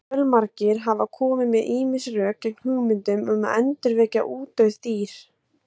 Fjölmargir hafa komið með ýmis rök gegn hugmyndum um að endurvekja útdauð dýr.